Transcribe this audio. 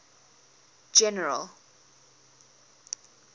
general